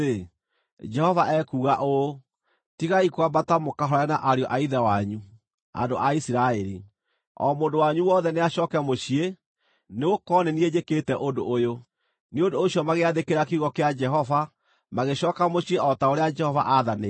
‘Jehova ekuuga ũũ: Tigai kwambata mũkahũũrane na ariũ a ithe wanyu, andũ a Isiraeli. O mũndũ wanyu wothe nĩacooke mũciĩ, nĩgũkorwo nĩ niĩ njĩkĩte ũndũ ũyũ.’ ” Nĩ ũndũ ũcio magĩathĩkĩra kiugo kĩa Jehova, magĩcooka mũciĩ o ta ũrĩa Jehova aathanĩte.